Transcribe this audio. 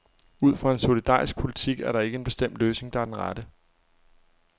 Ud fra en solidarisk politik er der ikke en bestemt løsning, der er den rette.